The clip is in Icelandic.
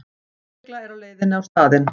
Lögregla er á leiðinni á staðinn